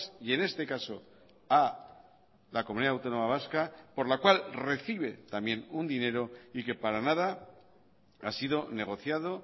y en este caso a la comunidad autónoma vasca por la cual recibe también un dinero y que para nada ha sido negociado